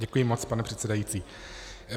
Děkuji moc, pane předsedající.